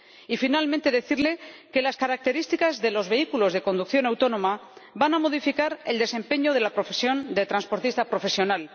Y finalmente, decirle que las características de los vehículos de conducción autónoma van a modificar el desempeño de la profesión de transportista profesional.